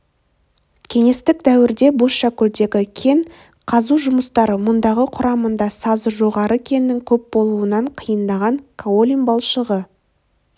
кеңестік дәуірде бозшакөлдегі кен қазу жұмыстары мұндағы құрамында сазы жоғары кеннің көп болуынан қиындаған каолин балшығы